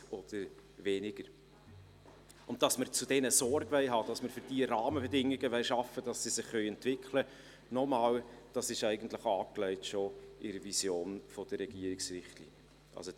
Dass wir zu diesen Sorge tragen und Rahmenbedingungen schaffen wollen, damit sie sich entwickeln können, ist, ich sage es nochmals, in der Vision der Regierungsrichtlinien bereits angelegt.